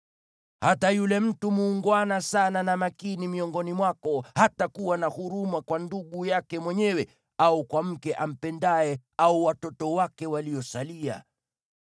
Hata yule mtu muungwana sana na makini miongoni mwako hatakuwa na huruma kwa ndugu yake mwenyewe au kwa mke ampendaye au watoto wake waliosalia,